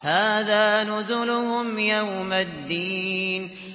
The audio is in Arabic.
هَٰذَا نُزُلُهُمْ يَوْمَ الدِّينِ